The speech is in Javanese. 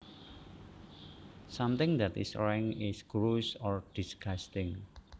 Something that is rank is gross or disgusting